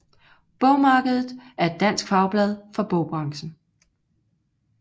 Bogmarkedet er et dansk fagblad for bogbranchen